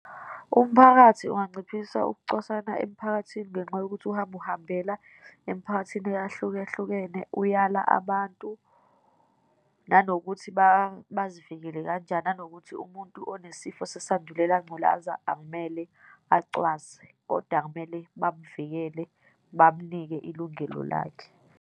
Umphakathi unganciphisa ukucwasana emiphakathini ngenxa yokuthi uhambe uhambela emiphakathini eyahlukahlukene, uyala abantu, nanokuthi bazivikele kanjani, nanokuthi umuntu onesifo sesandulela ngculaza akumele acwaswe, kodwa kumele bamvikele, bamnike ilungelo lakhe.